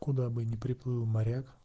куда бы не приплыл моряк